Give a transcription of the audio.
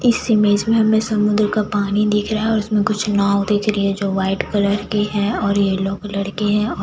इस इमेज में हमे समुन्द्र का पानी दिख रहा है और इसमें कुछ नांव दिख रही है जो वाइट कलर की है और येलो कलर की है और --